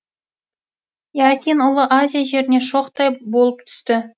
иасин ұлы азия жеріне шоқтай болып түсті